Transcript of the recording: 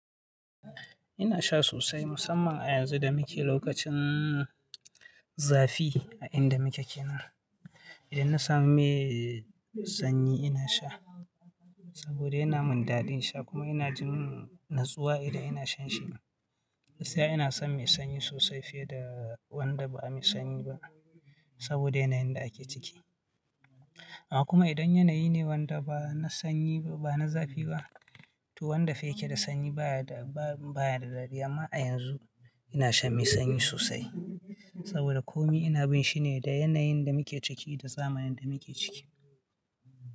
Ina sha sosai musamman a yanzu da muke lokacin zafi a inda muke kenan. Idan na samu mai sanyi ina sha saboda yana mun daɗin sha kuma ina jin natsuwa idan ina shan shi. Gaskiya ina son mai sanyi sosai fiye da wanda ba mai sanyi ba saboda yanayin da ake ciki. Amma kuma idan yanayi ne wanda ba na sanyi ba, ba na zafi ba, to wanda fa yake da sanyi baya da, ba, baya da dadi. Ma a yanzu ina shan mai sanyi sosai saboda komi ina bin shi ne da yanayin da muke ciki da zamanin da muke ciki.